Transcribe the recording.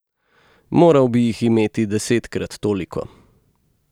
Moral bi jih imeti desetkrat toliko.